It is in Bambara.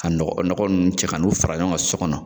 Ka nɔgɔ nɔgɔ nun cɛ ka n'u fara ɲɔgɔn kan so kɔnɔ.